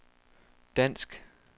dansk